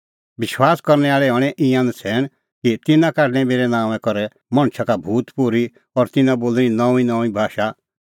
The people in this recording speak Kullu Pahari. विश्वासा करनै आल़े हणैं ईंयां नछ़ैण कि तिन्नां काढणैं मेरै नांओंआं करै मणछा का भूत पोर्ही और तिन्नां बोल़णीं नऊंईंनऊंईं भाषा